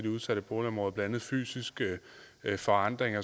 udsatte boligområder blandt andet fysiske forandringer